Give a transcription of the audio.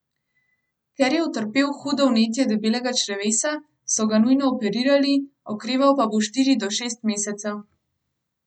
Ker je utrpel hudo vnetje debelega črevesa, so ga nujno operirali, okreval pa bo štiri do šest mesecev.